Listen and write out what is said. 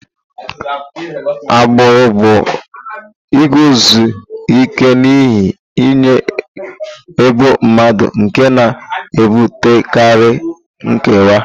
Agbụrụ bụ iguzosi ike n'ihe nye ebo mmadụ nke na-ebutekarị nkewa.